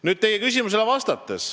Nüüd vastan teie küsimusele.